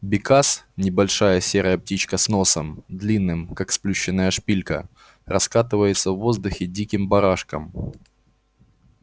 бекас небольшая серая птичка с носом длинным как сплющенная шпилька раскатывается в воздухе диким барашком